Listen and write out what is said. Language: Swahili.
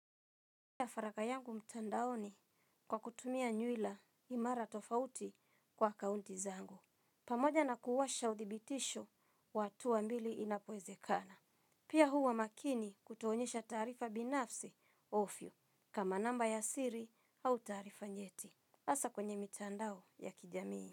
Pia faragha yangu mtandaoni kwa kutumia nywila imara tofauti kwa akaunti zangu. Pamoja na kuwasha udhibitisho wa hatua mbili inapowezekana. Pia huwa maakini kutoonyesha tarifa binafsi ovyo kama namba ya siri au taarifa nyeti. Haswa kwenye mitandao ya kijamii.